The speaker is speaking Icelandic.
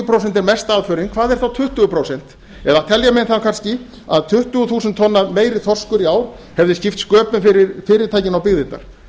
prósent er mesta aðförin hvað er þá tuttugu prósent eða telja menn það kannski að tuttugu þúsund tonna meiri þorskur í ár hefði skipt sköpum fyrir fyrirtækin og byggðirnar